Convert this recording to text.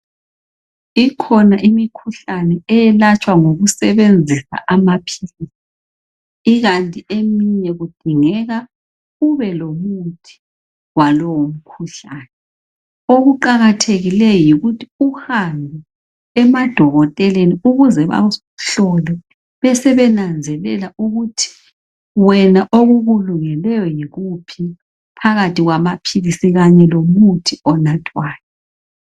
Ikhona imikhuhlane eyelatshwa ngokusebenzisa amaphilisi ikanti eminye kudingeka ube lomuthi walowo mukhuhlane okuqakathekileyo yikuthi uhambe emadokoteleni ukuze bakuhlole besebenanzelela ukuthi wena okukulungeleyo yikuphi phakathi kwamaphilisi kanye lomuthi onathwayo.